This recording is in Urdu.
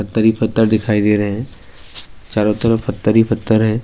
پتھرہی پتھردکھایی دے رہی ہیں، چاروترفف پتھرہی پتھردکھایی دے رہے ہیں-